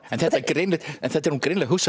en þetta en þetta er nú greinilega